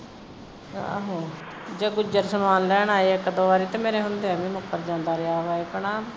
ਆਹੋ ਜਦੋਂ ਆਉਂਦਾ ਹੋਣਾ ਇੱਕ ਦੋ ਵਾਰੀ ਤੇ ਮੇਰੇ ਹੁੰਦਿਆਂ ਵੀ ਮੁੱਕਰ ਜਾਂਦਾ ਰਿਹਾ ਹੈ ਵਾ ਹੈਨਾ